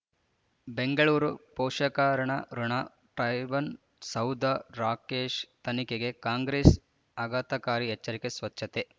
ಬೆಂಗಳೂರು ಪೋಷಕರಋಣ ಟರ್ಬೈನು ಸೌಧ ರಾಕೇಶ್ ತನಿಖೆಗೆ ಕಾಂಗ್ರೆಸ್ ಆಘಾತಕಾರಿ ಎಚ್ಚರಿಕೆ ಸ್ವಚ್ಛತೆ